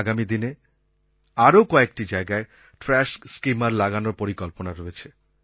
আগামী দিনে আরও কয়েকটি জায়গায় ট্রাশ স্কিমার লাগানোর পরিকল্পনা রয়েছে